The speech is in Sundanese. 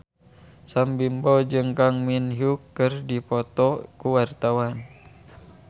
Sam Bimbo jeung Kang Min Hyuk keur dipoto ku wartawan